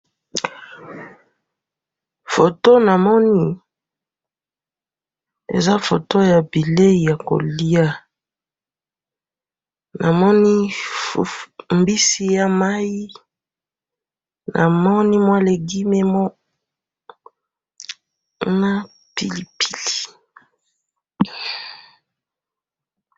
Foto namoni eza foto ya bileyi ya koliya, namoni mbisi ya mayi, namoni mwa legume na pilipili.